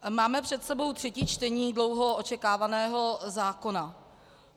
Máme před sebou třetí čtení dlouho očekávaného zákona.